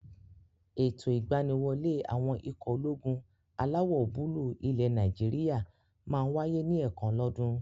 Ètò ìgbaniwọlé àwọn ikọ̀ ológun alawọ̀-búúlù ilẹ̀ Nàìjíríyà máa n wáyé ní ẹ̀ẹ̀kan lọ́ dún.